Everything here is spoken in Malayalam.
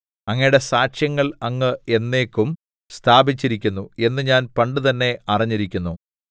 അങ്ങയുടെ സാക്ഷ്യങ്ങൾ അങ്ങ് എന്നേക്കും സ്ഥാപിച്ചിരിക്കുന്നു എന്ന് ഞാൻ പണ്ടുതന്നെ അറിഞ്ഞിരിക്കുന്നു രേശ്